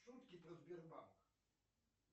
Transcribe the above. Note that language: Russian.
шутки про сбербанк